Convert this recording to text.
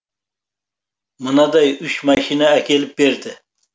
мынадай үш машина әкеліп берді